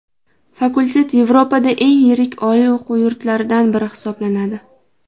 Fakultet Yevropada eng yirik oliy o‘quv yurtlaridan biri hisoblanadi.